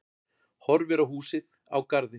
Horfir á húsið, á garðinn.